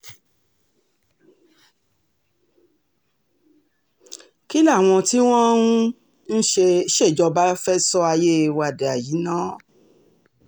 kí làwọn tí wọ́n um ń ṣèjọba sọ ayé wa dà yìí ná um